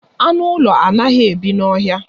Anụ ụlọ anaghị ebi n'ọhịa